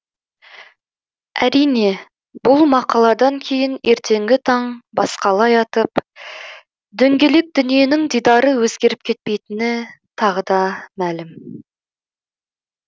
әрине бұл мақаладан кейін ертеңгі таң басқалай атып дөңгелек дүниенің дидары өзгеріп кетпейтіні тағы да мәлім